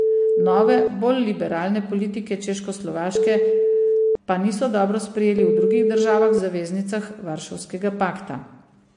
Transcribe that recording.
Nove, bolj liberalne politike Češkoslovaške pa niso dobro sprejeli v drugih državah zaveznicah varšavskega pakta.